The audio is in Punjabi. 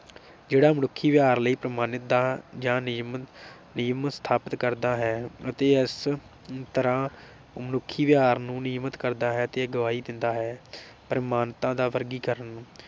ਜਿਹੜਾ ਮਨੁੱਖੀ ਵਿਵਹਾਰ ਲਈ ਪ੍ਰਮਾਣਿਕਤਾ ਜਾਂ ਨਿਯਮ ਨਿਯਮ ਸਥਾਪਿਤ ਕਰਦਾ ਹੈ ਅਤੇ ਇਸੇ ਤਰ੍ਹਾਂ ਮਨੁੱਖੀ ਵਿਵਹਾਰ ਨੂੰ ਨਿਯਮਤ ਕਰਦਾ ਤੇ ਗਵਾਹੀ ਦਿੰਦਾ ਹੈ। ਪ੍ਰਮਾਣਿਕਤਾ ਦਾ ਵਰਗੀਕਰਨ